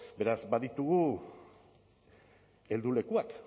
beraz baditugu heldulekuak